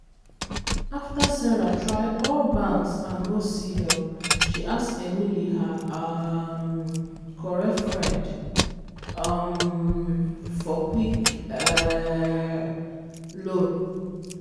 after sarah try all banks and no see help she ask emily her um correct friend um for quick um loan.